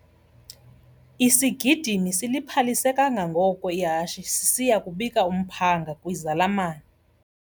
Isigidimi siliphalise kangangoko ihashe sisiya kubika umphanga kwizalamane.